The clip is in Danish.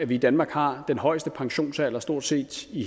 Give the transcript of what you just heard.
vi i danmark har den højeste pensionsalder i stort set